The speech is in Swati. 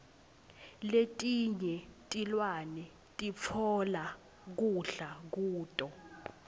letinye tilwane sitfola kudla kuto